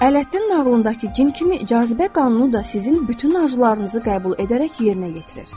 Ələddin nağlındakı cin kimi cazibə qanunu da sizin bütün arzularınızı qəbul edərək yerinə yetirir.